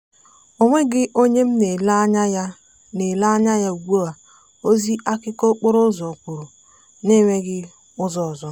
onweghị onye m na-ele anya ya na-ele anya ya ugbua ozi akụkọ okporo ụzọ kwuru na enweghị ụzọ ọzọ.